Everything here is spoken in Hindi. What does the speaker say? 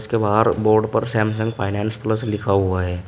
के बाहर बोर्ड पर सैमसंग फाइनेंस प्लस लिखा हुआ है।